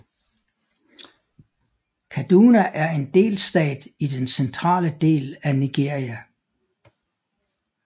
Kaduna er en delstat i den centrale del af Nigeria